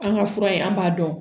An ka fura in an b'a dɔn